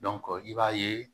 i b'a ye